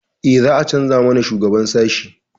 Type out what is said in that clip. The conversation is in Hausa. Eh, za a canza mana shugaban sashi.